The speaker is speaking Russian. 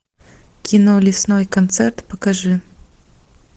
кино лесной концерт покажи